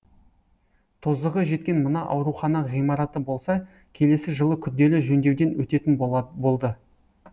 тозығы жеткен мына аурухана ғимараты болса келесі жылы күрделі жөндеуден өтетін болды